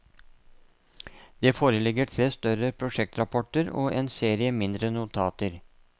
Det foreligger tre større prosjektrapporter og en serie mindre notater.